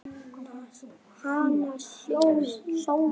Hana Sonju?